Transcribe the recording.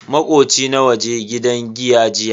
Makoci na yaje gidan giya jiya.